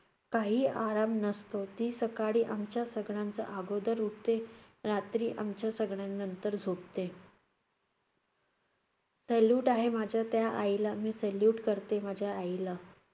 काही आराम नसतो. ती सकाळी आमच्या सगळ्यांच्या आगोदर उठते, रात्री आमच्या सगळ्यानंतर झोपते. salute आहे माझ्या त्या आईला, मी salute करते माझ्या आईला.